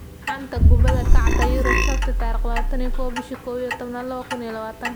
Xanta Kubadda Cagta Yurub Sabti 21.11.2020: Szoboszlai, Sanchez, Messi, Willian, Isco, Khedira